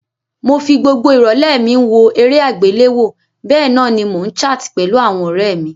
Mo fi gbogbo ìrọ̀lẹ́ mi n wo eré àgbéléwo bénan ni mo n chart pẹ̀lu àwon ọ̀rẹ mí